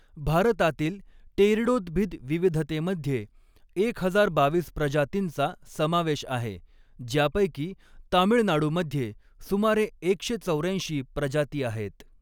भारतातील टेरिडोद्भिद विविधतेमध्ये एक हजार बावीस प्रजातींचा समावेश आहे, ज्यापैकी तामीळनाडूमध्ये सुमारे एकशे चौऱ्याऐंशी प्रजाती आहेत.